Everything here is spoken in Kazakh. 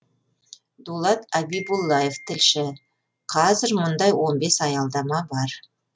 дулат абибуллаев тілші қазір мұндай он бес аялдама бар